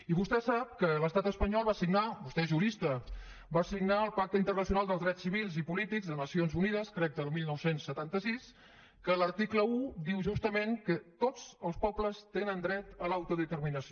i vostè sap que l’estat espanyol va signar vostè és jurista el pacte internacional dels drets civils i polítics a nacions unides crec que el dinou setanta sis que l’article un diu justament que totsels pobles tenen dret a l’autodeterminació